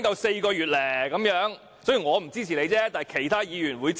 雖然我不會支持，但其他議員亦會支持。